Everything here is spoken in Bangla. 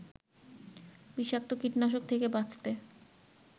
বিষাক্ত কীটনাশক থেকে বাঁচতে